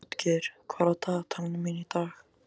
Játgeir, hvað er í dagatalinu í dag?